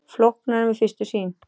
Flóknara en við fyrstu sýn